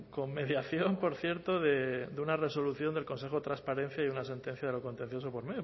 con mediación por cierto de una resolución del consejo de transparencia y una sentencia de lo contencioso por